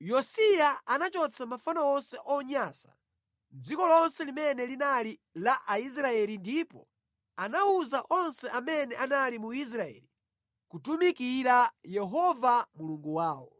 Yosiya anachotsa mafano onse onyansa mʼdziko lonse limene linali la Aisraeli ndipo anawuza onse amene anali mu Israeli kutumikira Yehova Mulungu wawo.